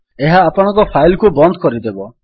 ଏହା ଆପଣଙ୍କ ଫାଇଲ୍ କୁ ବନ୍ଦ କରିଦେବ